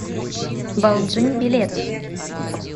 балджын билет